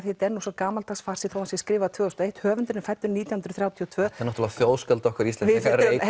þetta er svo gamaldags farsi þó hann sé skrifaður tvö þúsund og eitt að höfundurinn er fæddur nítján hundruð þrjátíu og tvö þetta er náttúrulega þjóðskáld okkar Íslendinga